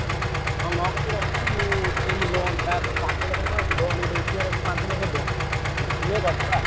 ହୁଁ ହଁ ମୋ କତିରେ ଅଛି ମୁଁ ଉଠେଇବି loan ଟା ମୋର ପାଞ୍ଚ ଲକ୍ଷ ଟଙ୍କା ଅଛି loan ଗୋଟେ ଉଠେଆର ଅଛି ପାଞ୍ଚ ଲକ୍ଷ ଟଙ୍କା ଉଠିଲେ କରିଦବା।